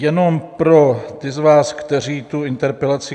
Jenom pro ty z vás, kteří tu interpelaci...